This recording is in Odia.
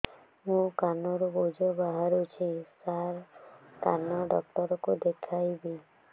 ମୋ କାନରୁ ପୁଜ ବାହାରୁଛି ସାର କାନ ଡକ୍ଟର କୁ ଦେଖାଇବି